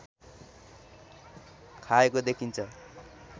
खाएको देखिन्छ